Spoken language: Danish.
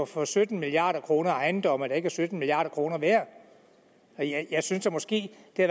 for sytten milliard kroner køber ejendomme der ikke er sytten milliard kroner værd jeg synes da måske det